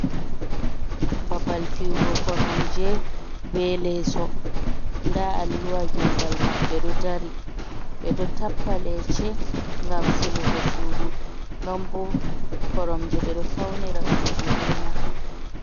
Ɓabal fiyugo koromje be leso, ɗa alluwa gégal maɓɓe doh ɗari. Ɓe doh tappa lece gam silugo sudu, non bo koromje ɓe doh faunira sudu ɓe man.